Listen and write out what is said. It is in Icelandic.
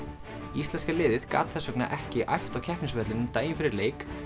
íslenska liðið gat þess vegna ekki æft á keppnisvellinum daginn fyrir leik